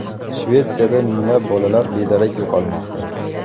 Shvetsiyada minglab bolalar bedarak yo‘qolmoqda.